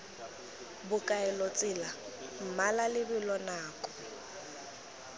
bokaelo tsela mmala lebelo nako